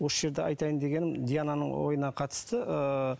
осы жерде айтайын дегенім диананың ойына қатысты ыыы